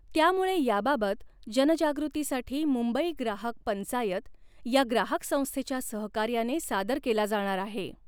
त्यामुळे याबाबत जनजागृतीसाठी मुंबई ग्राहक पंचायत या ग्राहक संस्थेच्या सहकार्याने सादर केला जाणार आहे.